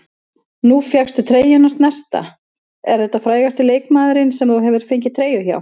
Nú fékkstu treyjuna hans Nesta, er þetta frægasti leikmaðurinn sem þú hefur fengið treyju hjá?